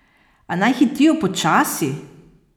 A naj hitijo počasi!